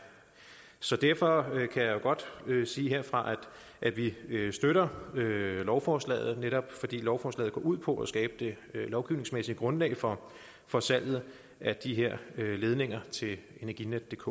så derfor kan jeg godt sige herfra at vi støtter lovforslaget netop fordi lovforslaget går ud på at skabe det lovgivningsmæssige grundlag for for salget af de her ledninger til energinetdk